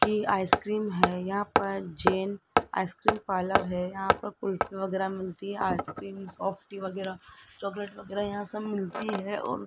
की आइसक्रीम है यहां पर जैन आइसक्रीम पार्लर है यहां पर कुल्फी वगैरह मिलती है आइसक्रीम सॉफ्ट टी वगैरह चॉकलेट वगैरह यहां सब मिलती है और --